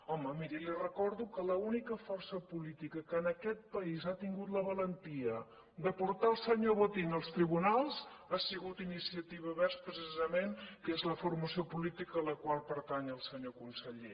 home miri li recordo que l’única força política que en aquest país ha tingut la valentia de portar el senyor botín als tribunals ha sigut iniciativa verds precisament que és la formació política a la qual pertany el senyor conseller